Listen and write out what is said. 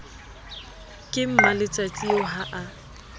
ke mmaletsatsi eo ha a